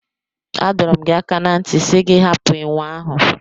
A dọrọ m gi aka na nti si gị hapụ enwe ahụ.